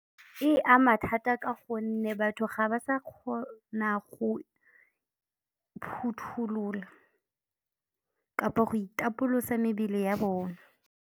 E ama thata ka gonne batho ga ba sa kgona go phothulola kapa go itapolosa mebele ya bona.